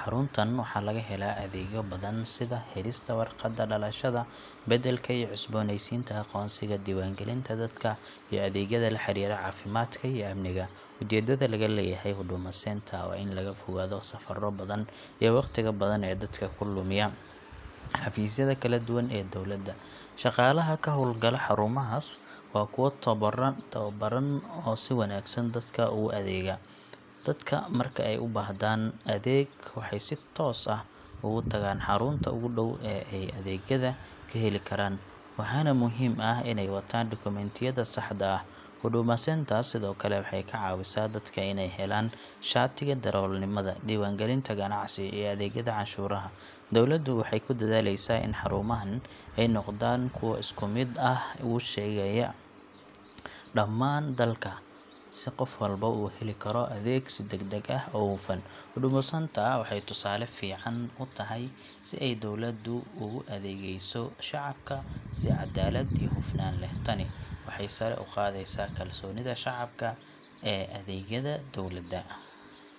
Xaruntan waxaa laga helaa adeegyo badan sida helista warqadda dhalashada, beddelka iyo cusboonaysiinta aqoonsiga, diiwaangelinta dadka, iyo adeegyada la xiriira caafimaadka iyo amniga. Ujeedada laga leeyahay Huduma Centre waa in laga fogaado safarro badan iyo waqtiga badan ee dadka ku lumiya xafiisyada kala duwan ee dowladda. Shaqaalaha ka howlgala xarumahaas waa kuwo tababaran oo si wanaagsan dadka ugu adeega. Dadka marka ay u baahdaan adeeg waxay si toos ah ugu tagaan xarunta ugu dhow ee ay adeegyada ka heli karaan, waxaana muhiim ah inay wataan dukumentiyada saxda ah. Huduma Centre sidoo kale waxay ka caawisaa dadka inay helaan shatiga darawalnimada, diiwaangelinta ganacsiga, iyo adeegyada canshuuraha. Dowladdu waxay ku dadaaleysaa in xarumahan ay noqdaan kuwo si isku mid ah uga shaqeeya dhammaan dalka, si qof walba uu u heli karo adeeg si degdeg ah oo hufan. Huduma Centre waxay tusaale fiican u tahay sida ay dowladdu ugu adeegayso shacabka si cadaalad iyo hufnaan leh. Tani waxay sare u qaadaysaa kalsoonida shacabka ee adeegyada dowladda.